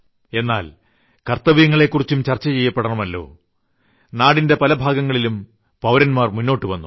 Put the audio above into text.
എന്നാൽ കർത്തവ്യങ്ങളെക്കുറിച്ചും ചർച്ച ചെയ്യപ്പെടണമല്ലോ നാടിന്റെ പല ഭാഗങ്ങളിലും പൌരന്മാർ മുന്നോട്ടു വന്നു